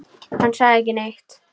Hann sagði ekki neitt.